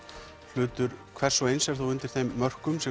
hlutur hvers og eins er þó undir þeim mörkum sem